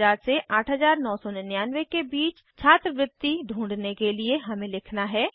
7000 से 8999 के बीच छात्रवृत्ति ढूँढने के लिए हमें लिखना है